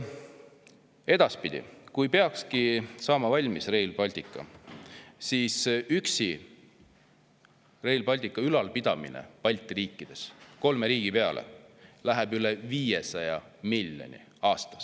Edaspidi, kui peakski saama valmis Rail Baltic, siis Rail Balticu ülalpidamine Balti riikides, kolme riigi peale, läheb maksma üle 500 miljoni aastas.